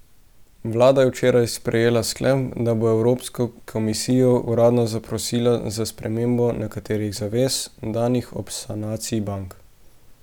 Vlada je včeraj sprejela sklep, da bo evropsko komisijo uradno zaprosila za spremembo nekaterih zavez, danih ob sanaciji bank.